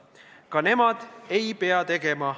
Ka nemad ei pea midagi tegema.